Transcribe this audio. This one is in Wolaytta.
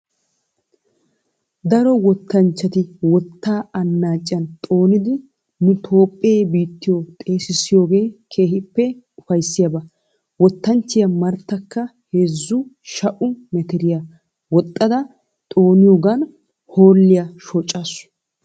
Daro wottanchchati wottaa annaacciyan xoonidi nu toophphee biittiyo xeessissiyooge keehippe upayissiyaba. Wottanchchiya marttakka heezzu sha'u metiriya woxxada xooniyoogan hoolliya shoccaasu.